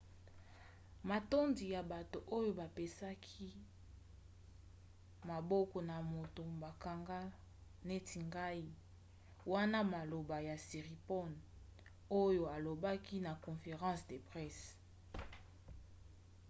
matondi na bato oyo bapesaki maboko na moto bakanga neti ngai wana maloba ya siriporn oyo alobaki na conference de presse